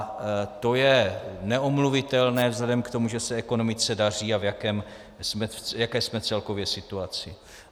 A to je neomluvitelné vzhledem k tomu, že se ekonomice daří a v jaké jsme celkově situaci.